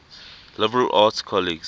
liberal arts colleges